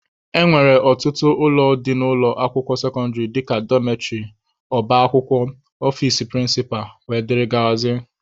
E nwere ọtụtụ ụlọ dị n'ụlọ akwụkwọ sekọndịrị dika Dọmetrị, ọba akwụkwọ, ọfici prịncịpa wdg.